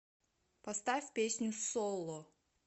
поставь песню соло